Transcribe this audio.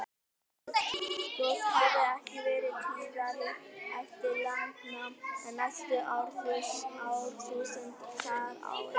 Eldgos hafa ekki verið tíðari eftir landnám en næstu árþúsund þar á undan.